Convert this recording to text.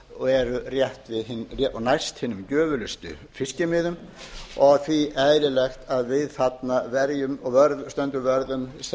sem eru næst hinum gjöfulustu fiskimiðum og því eðlilegt að við stöndum vörð um þessa